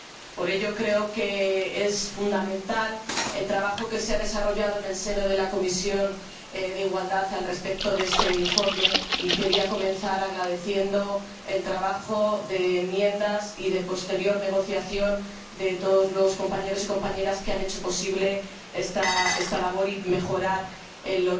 Por ello, creo que es fundamental el trabajo que se ha desarrollado en la Comisión de Derechos de la Mujer e Igualdad de Género al respecto de este informe, y quería comenzar agradeciendo el trabajo de enmiendas y de posterior negociación de todos los compañeros y compañeras que han hecho posible esta labor y mejorar el